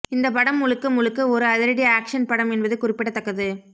இந்த படம் முழுக்க முழுக்க ஒரு அதிரடி ஆக்ஷன் படம் என்பது குறிப்பிடத்தக்கது